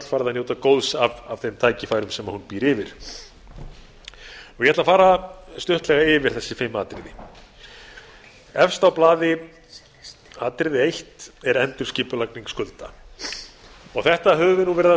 að njóta góðs af þeim tækifærum sem hún býr yfir ég ætla að fara stuttlega yfir þessi fimm atriði efst á blaði er endurskipulagning skulda þetta höfum við verið að tala